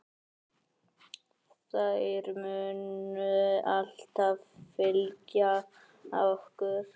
Þær munu alltaf fylgja okkur.